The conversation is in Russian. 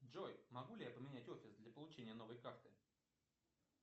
джой могу ли я поменять офис для получения новой карты